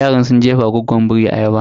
Yaran sun jefawa goggon biri ayaba.